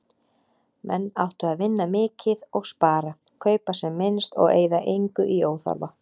Menn áttu að vinna mikið og spara, kaupa sem minnst og eyða engu í óþarfa.